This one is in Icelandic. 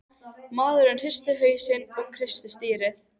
Maðurinn hristi hausinn og kreisti stýrið.